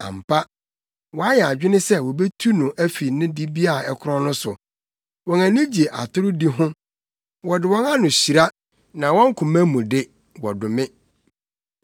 Ampa, wɔayɛ adwene se wobetu no afi ne dibea a ɛkorɔn no so; wɔn ani gye atorodi ho. Wɔde wɔn ano hyira na wɔn koma mu de, wɔdome.